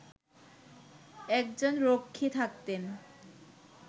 একজন রক্ষী থাকতেন